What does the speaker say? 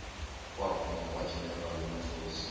waphuma kwageneral motors